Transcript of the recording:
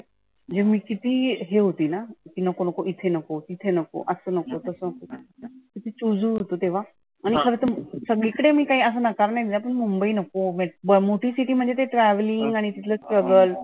जे मी किती हे होती ना. की नको नको इथे नको, इथे नको, असं नको, छोटसं चुजु होते तेव्हा. आणि खरं तर सगळी कडे मी काही असं म्हणनार आनी मुंबई नको मोठी city म्हणजे ते travelling आणि तिथलं strugle